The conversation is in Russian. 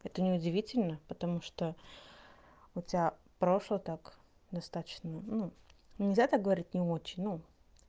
это неудивительно потому что у тебя прошлое ну так достаточно нельзя так говорить не очень ну